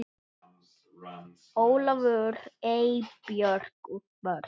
Ólafur, Eybjörg og börn.